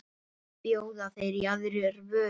Bjóða þeir í aðrar vörur?